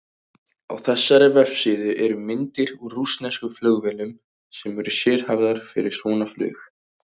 Á þessari vefsíðu eru myndir úr rússneskum flugvélum sem eru sérhæfðar fyrir svona flug.